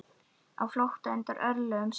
Á flótta undan örlögum sínum.